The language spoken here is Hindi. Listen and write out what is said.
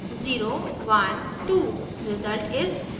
number is: 012